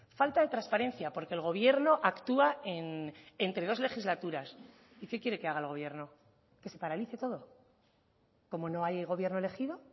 falta de transparencia porque el gobierno actúa entre dos legislaturas y qué quiere que haga el gobierno qué se paralice todo cómo no hay gobierno elegido